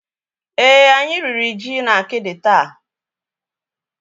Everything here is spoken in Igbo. Èé, anyị riri ji na akidi taa.